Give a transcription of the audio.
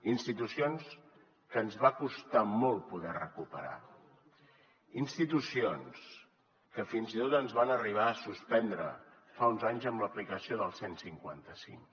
institucions que ens va costar molt poder recuperar institucions que fins i tot ens van arribar a suspendre fa uns anys amb l’aplicació del cent i cinquanta cinc